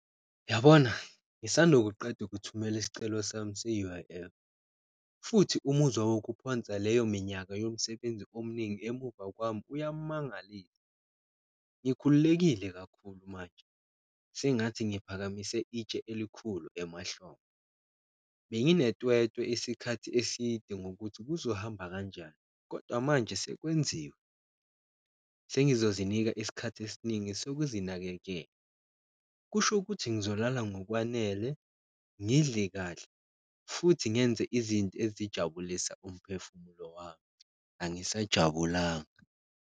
Uyabona ngisanda ukuqeda ukuthumela isicelo sami se-U_I_F futhi umuzwa wokuphonsa leyo minyaka yomsebenzi omningi emumva kwami uyamangalisa, ngikhululekile kakhulu manje sengathi ngiphakamise itshe elikhulu emahlombe. Benginetwetwe isikhathi eside ngokuthi kuzohamba kanjani kodwa manje sekwenziwe, sengizozinika isikhathi esiningi sokuzinakekela, kusho ukuthi ngizolala ngokwanele, ngidle kahle, futhi ngenze izinto ezijabulisa umphefumulo wami. Angisajabulanga.